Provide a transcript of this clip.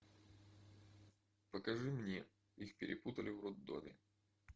покажи мне их перепутали в роддоме